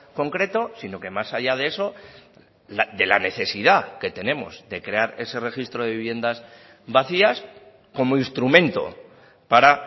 concreto sino que más allá de eso de la necesidad que tenemos de crear ese registro de viviendas vacías como instrumento para